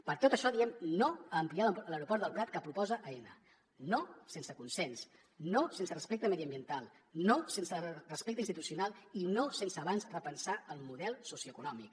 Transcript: per tot això diem no a ampliar l’aeroport del prat que proposa aena no sense consens no sense respecte mediambiental no sense respecte institucional i no sen se abans repensar el model socioeconòmic